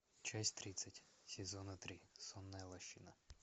часть тридцать сезона три сонная лощина